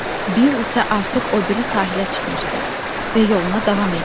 Bill isə artıq o biri sahilə çıxmışdı və yoluna davam edirdi.